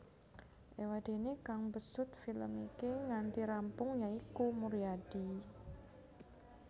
Éwadéné kang mbesut film iki nganti rampung ya iku Muryadi